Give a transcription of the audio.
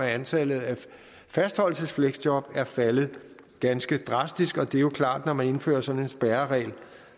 at antallet af fastholdelsesfleksjob er faldet ganske drastisk og det er jo klart når man indfører sådan en spærreregel